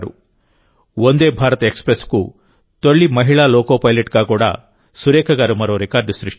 వందే భారత్ ఎక్స్ప్రెస్కు తొలి మహిళా లోకో పైలట్గా కూడా సురేఖ గారు మరో రికార్డు సృష్టించారు